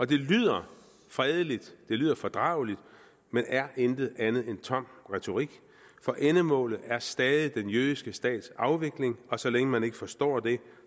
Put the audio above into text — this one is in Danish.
det lyder fredeligt det lyder fordrageligt men er intet andet end tom retorik for endemålet er stadig den jødiske stats afvikling og så længe man ikke forstår det